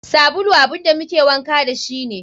Sabulu abun da muke wanka dashi ne.